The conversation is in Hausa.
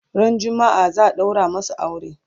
ran jumma'a zaa daura masu aure